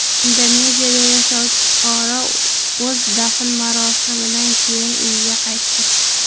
Indoneziyada yashovchi fuqaro o‘z dafn marosimidan keyin uyiga qaytdi.